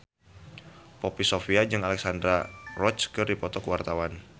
Poppy Sovia jeung Alexandra Roach keur dipoto ku wartawan